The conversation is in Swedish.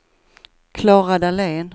Klara Dahlén